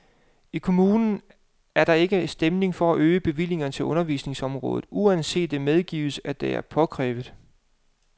I kommunen er der ikke stemning for at øge bevillingerne til undervisningsområdet, uanset at det medgives, at det er påkrævet.